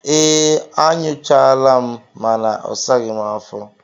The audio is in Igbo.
Ee, anyụchaala m mana ọ saghi m afo